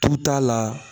Tu t'a la